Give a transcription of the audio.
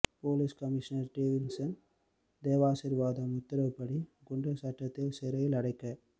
police commissioner Davidson Devasirvatham உத்தரவுப்படி குண்டர் சட்டத்தில் சிறையில் அடைக்கப்